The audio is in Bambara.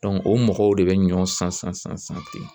o mɔgɔw de bɛ ɲɔ san san san ten